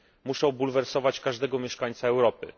Muszą bulwersować każdego mieszkańca Europy.